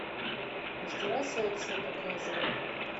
мастера секса показывай